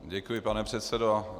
Děkuji, pane předsedo.